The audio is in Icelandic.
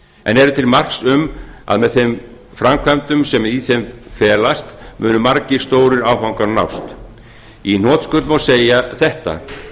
en eru til marks um að með þeim framkvæmdum sem í þeim felast munu margir stórir áfangar nást í hnotskurn má segja þetta